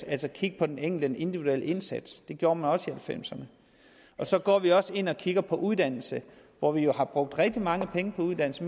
at kigge på den enkeltes individuelle indsats det gjorde man også halvfemserne så går vi også ind og kigger på uddannelse hvor vi jo har brugt rigtig mange penge på uddannelse